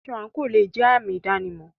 Aṣọ/àǹkò aṣọ le è jẹ́ àmì ìdánimọ̀.